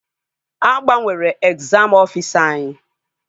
A gbanwere egzam ọfisa anyị